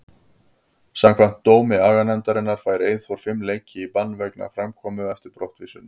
Samkvæmt dómi aganefndarinnar fær Eyþór fimm leiki í bann vegna framkomu eftir brottvísunina.